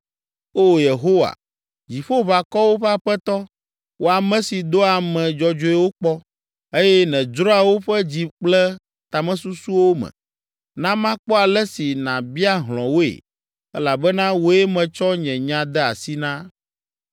O Yehowa, Dziƒoʋakɔwo ƒe Aƒetɔ, wò ame si doa ame dzɔdzɔewo kpɔ, eye nèdzroa woƒe dzi kple tamesusuwo me, na makpɔ ale si nàbia hlɔ̃ woe elabena wòe metsɔ nye nya de asi na.